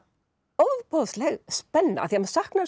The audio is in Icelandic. ofboðsleg spenna af því maður saknar